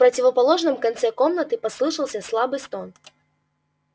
в противоположном конце комнаты послышался слабый стон